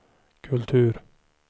kultur